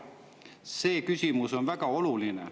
See küsimus on väga oluline.